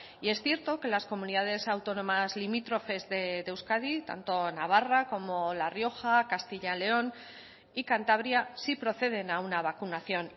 y es cierto que las comunidades autónomas limítrofes de euskadi tanto navarra como la rioja castilla león y cantabria sí proceden a una vacunación